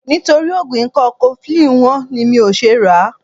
Nítorí oògùn ikọ́ cofflin wọ́n ni mi ò ṣe ràá.